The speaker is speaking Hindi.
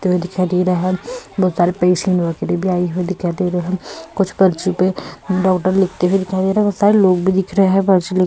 दिखाई दे रहा है बहुत सारे पेशेंट वगैरह भी आए हुए दिखाई दे रहे हैं कुछ पर्ची पे डॉक्टर लिखते हुए दिखाई दे रहे हैं बहुत सारे लोग भी दिख रहे हैं। पर्ची लिख --